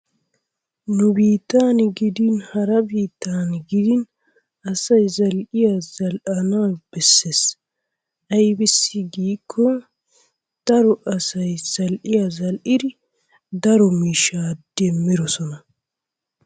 Nu biittan gidin hara biittan gidin asay zal'iya zal'ana bessees, aybissi gikko daro asay za'iya zal'idi daro miishshaa demmiroosona.